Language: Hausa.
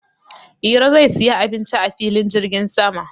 Iro zai siya abincin a filin jirgin sama.